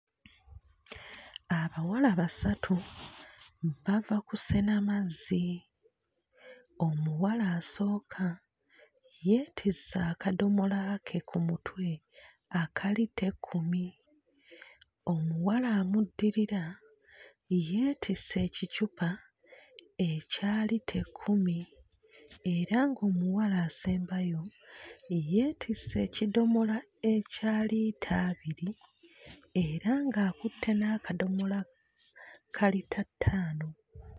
Abawala basatu bava kusena mazzi. Omuwala asooka yeetisse akadomola ke ku mutwe aka liita ekkumi. Omuwala amuddirira yeetisse ekicupa ekya liita ekkumi era ng'omuwala asembayo yeetisse ekidomola ekya liita abiri era ng'akutte n'akadomola ka liita ttaano.